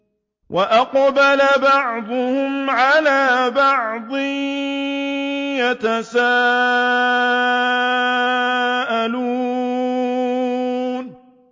وَأَقْبَلَ بَعْضُهُمْ عَلَىٰ بَعْضٍ يَتَسَاءَلُونَ